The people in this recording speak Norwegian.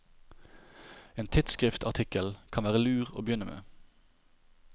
En tidsskriftartikkel kan være lur å begynne med.